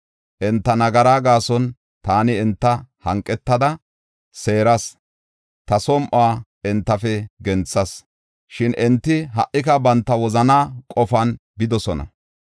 Enta nagaraa gaason taani enta hanqetada seeras; ta som7uwa entafe genthas; shin enti ha77ika banta wozanaa qofan bidosona.